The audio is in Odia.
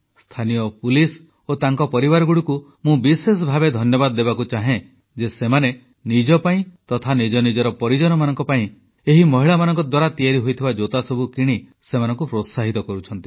ସ୍ଥାନୀୟ ପୋଲିସ ଓ ତାଙ୍କ ପରିବାରଗୁଡ଼ିକୁ ମୁଁ ବିଶେଷ ଭାବେ ଧନ୍ୟବାଦ ଦେବାକୁ ଚାହେଁ ଯେ ସେମାନେ ନିଜ ପାଇଁ ତଥା ନିଜ ପରିଜନଙ୍କ ପାଇଁ ଏହି ମହିଳାମାନଙ୍କ ଦ୍ୱାରା ତିଆରି ହୋଇଥିବା ଜୋତାସବୁ କିଣି ସେମାନଙ୍କୁ ପ୍ରୋତ୍ସାହିତ କରୁଛନ୍ତି